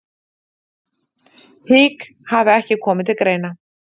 Hik hafi ekki komið til greina